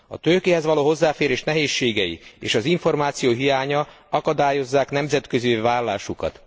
A tőkéhez való hozzáférés nehézségei és az információ hiánya akadályozzák nemzetközivé válásukat.